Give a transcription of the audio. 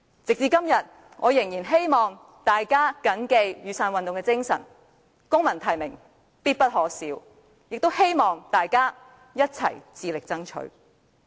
直至今天，我仍然希望大家緊記雨傘運動的精神——"公民提名，必不可少"——也希望大家一起致力爭取。